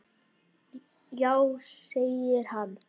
Já segir hann.